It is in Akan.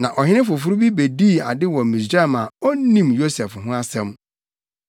Na ɔhene foforo bi bedii ade wɔ Misraim a na onnim Yosef ho asɛm.